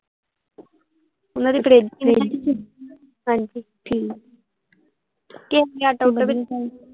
ਓਹਨਾਂ ਦੀ ਫ੍ਰਿਜ ਹਾਂਜੀ ਠੀਕ ਆ